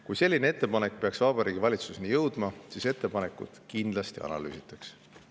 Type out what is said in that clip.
Kui selline ettepanek peaks Vabariigi Valitsuseni jõudma, siis seda kindlasti analüüsitakse.